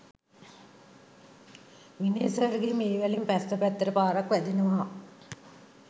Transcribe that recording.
විනේ සර්ගේ වේවැලෙන් පස්ස පැත්තට පාරක් වැදෙනවා